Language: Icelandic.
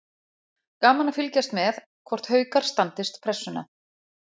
Gaman að fylgjast með: Hvort Haukar standist pressuna.